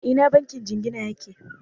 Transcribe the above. A ina bankin jingina yake?